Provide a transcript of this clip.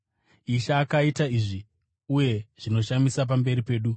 Ishe akaita izvi, uye zvinoshamisa pamberi pedu’?”